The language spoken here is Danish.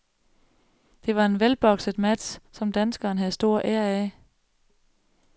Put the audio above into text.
Det var en velbokset match, som danskeren havde stor ære af.